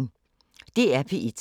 DR P1